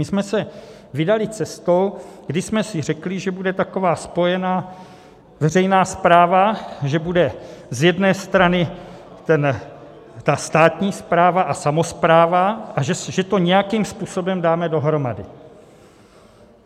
My jsme se vydali cestou, kdy jsme si řekli, že bude taková spojená veřejná správa, že bude z jedné strany ta státní správa a samospráva a že to nějakým způsobem dáme dohromady.